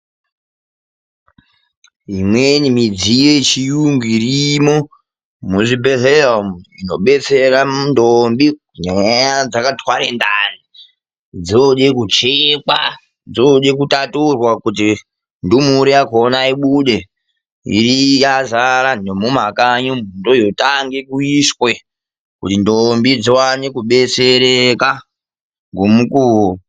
Imweni midziyo yechiyungu irimo muzvibhehlera umu inobetsera ntombi dzinenge dzakatwara ndani dzode kuchekwa, dzoode kutaturwa kuti ndumure yakona ibude yazara nemumakanyi ndooyotange kuiswe, kuti ndombi dzione kubetsereka nemukuwo.